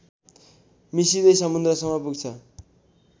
मिसिदै समुन्द्रसम्म पुग्छ